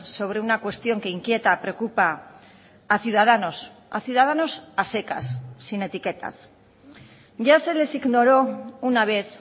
sobre una cuestión que inquieta preocupa a ciudadanos a ciudadanos a secas sin etiquetas ya se les ignoró una vez